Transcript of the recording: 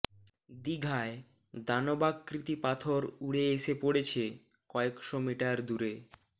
দিঘায় দানবাকৃতি পাথর উড়ে এসে পড়েছে কয়েশো মিটার দূরে